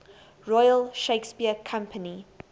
royal shakespeare company